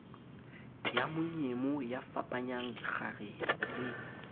ya monyemo yafapanyang dikgarebe le